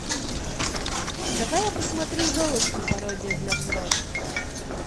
давай я посмотрю золушка пародия для взрослых